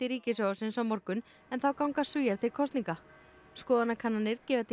ríkissjónvarpsins á morgun en þá ganga Svíar til kosninga skoðanakannanir gefa til